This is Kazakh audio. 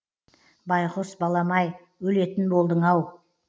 байғұс балам ай өлетін болдың ау